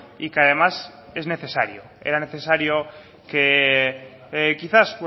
y que además es necesario era necesario que quizás